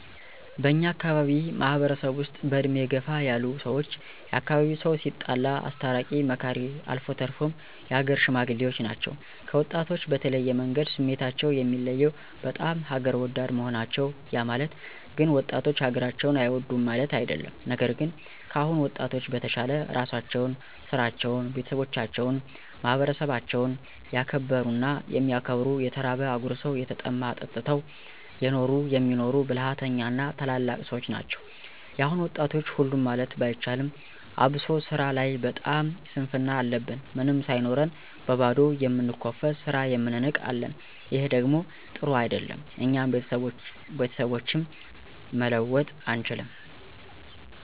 በእኛ አካባቢ ማህበረሰብ ውስጥ በእድሜ ገፋ ያሉ ሰዎች የአካባቢው ሰው ሲጣላ አስታራቂ መካሪ አልፎ ተርፎም የሀገር ሽማግሌዎች ናቸው። ከወጣቶች በተለየ መንገድ ስሜታቸው የሚለየው ..በጣም ሀገር ወዳድ መሆናቸው ያ ማለት ግን ወጣቶች ሀገራቸውን አይወዱም ማለት አደለም። ነገር ግን ከአሁን ወጣቶች በተሻለ እራሳቸውን፣ ስራቸዉን፣ ቤተሰባቸውን፣ ማህበረሰባቸውን ያከበሩና የሚያከብሩ የተራበ አጉርሰው የተጠማ አጠጥተው የኖሩ የሚኖሩ ብልሀተኛ እና ታላላቅ ሰዎች ናቸው። የአሁን ወጣቶች ሁሉም ማለት ባይቻልም አብሶ ስራ ላይ በጣም ስንፍና አለብን ምንም ሳይኖረን በባዶዉ የምንኮፈስ ስራ የምንንቅ አለን። ይሔ ደግሞ ጥሩ አደለም። እኛንም ቤተሰባችንም መለወጥ አንችልም።